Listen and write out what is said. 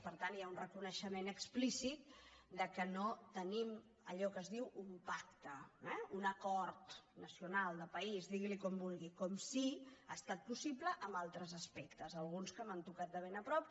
per tant hi ha un reconeixement explícit que no tenim allò que es diu un pacte eh un acord nacional de país diguili com vulgui com sí que ha estat possible en altres aspectes alguns que m’han tocat de ben a prop